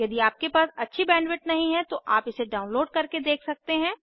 यदि आपके पास अच्छी बैंडविड्थ नहीं है तो आप इसे डाउनलोड करके देख सकते हैं